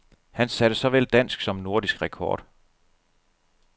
Han satte såvel dansk som nordisk rekord.